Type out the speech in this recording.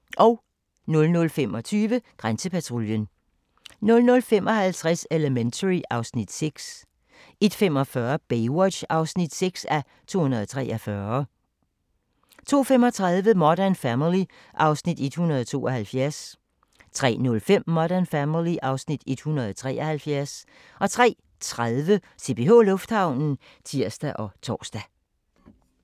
00:25: Grænsepatruljen 00:55: Elementary (Afs. 6) 01:45: Baywatch (6:243) 02:35: Modern Family (Afs. 172) 03:05: Modern Family (Afs. 173) 03:30: CPH Lufthavnen (tir og tor)